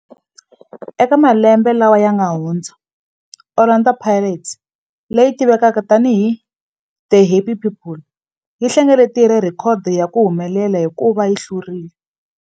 Eka malembe lawa yanga hundza, Orlando Pirates, leyi tivekaka tani hi The Happy People, yi hlengeletile rhekhodo ya ku humelela hikuva yi hlule.